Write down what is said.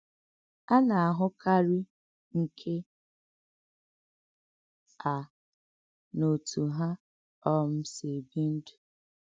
À nà-àhụ̀kárí nkè à n’òtú hà um sī èbì ndú.